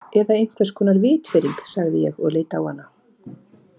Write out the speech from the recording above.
Eða einhvers konar vitfirring, sagði ég og leit á hana.